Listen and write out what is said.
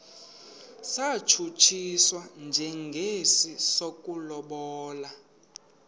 satshutshiswa njengesi sokulobola